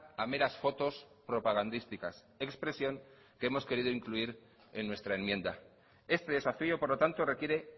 a meras fotos propagandísticas expresión que hemos querido incluir en nuestra enmienda este desafío por lo tanto requiere